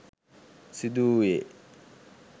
සිදු වූයේ